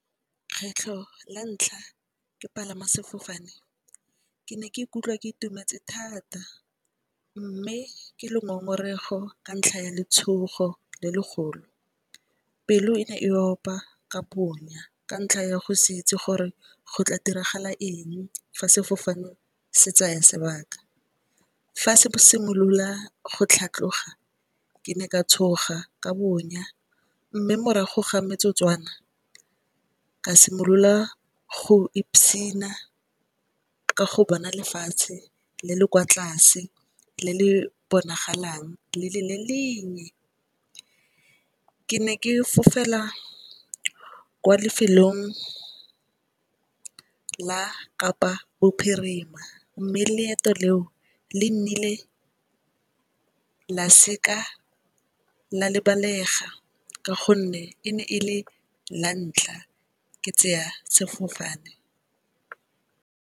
Kgetlho la ntlha ke palama sefofane ke ne ke ikutlwa ke itumetse thata, mme ke le ngongorego ka ntlha ya letshogo le legolo. Pelo e ne e opa ka bonya ka ntlha ya go se itse gore go tla diragala eng fa sefofane se tsaya sebaka. Fa se simolola go tlhatlhoga ke ne ka tshoga ka bonya mme morago ga metsotswana ka simolola go ipsina ka go bona lefatshe le le kwa tlase le le bonagalang le le lennye. Ke ne ke fofela kwa lefelong la kapa-bophirima, mme leeto leo le nnile la seka la le lebalega ka gonne e ne e le lantlha ke tseya sefofane.